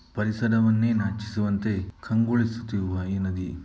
ಪರಿಸರವನ್ನೇ ನಾಚಿಸುವಂತೆ ಕಂಗೊಳಿಸುತ್ತಿರುವ ಈ ನದಿ --